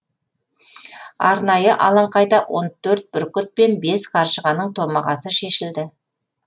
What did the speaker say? арнайы алаңқайда он төрт бүркіт пен бес қаршығаның томағасы шешілді